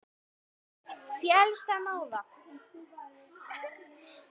Féllst hann á það.